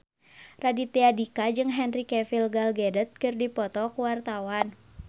Raditya Dika jeung Henry Cavill Gal Gadot keur dipoto ku wartawan